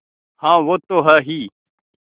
हाँ वो तो हैं ही